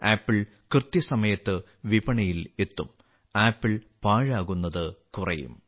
apple കൃത്യസമയത്ത് വിപണിയിൽ എത്തും ആപ്പിൾ പാഴാകുന്നത് കുറയും